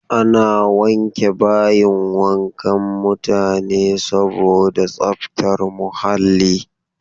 Ana wanke bayin wankan mutane saboda tsaftar muhalli.